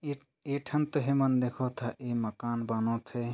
ए एठन तहे मन देखा था ए मकान बना थे ।